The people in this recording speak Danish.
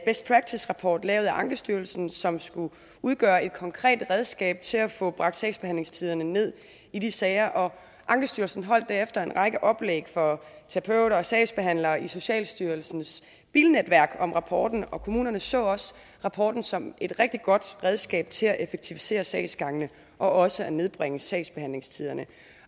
best practice rapport lavet af ankestyrelsen som skulle udgøre et konkret redskab til at få bragt sagsbehandlingstiderne ned i de sager ankestyrelsen holdt derefter en række oplæg for terapeuter og sagsbehandlere i socialstyrelsens bilnetværk om rapporten og kommunerne så også rapporten som et rigtig godt redskab til at effektivisere sagsgangene og også at nedbringe sagsbehandlingstiderne